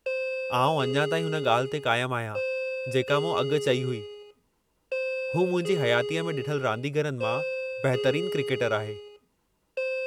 आउं अञा ताईं हुन ॻाल्हि ते क़ाइमु आहियां जेका मूं अॻु चई हुई, हू मुंहिंजी हयातीअ में ॾिठलु रांदीगरनि मां बहितरीनु क्रिकेटरु आहे।